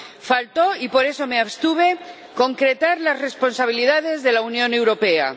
Faltó, y por eso me abstuve, concretar las responsabilidades de la Unión Europea.